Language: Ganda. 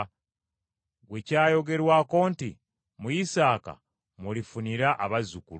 gwe kyayogerwako nti, “Mu Isaaka mw’olifunira abazzukulu,”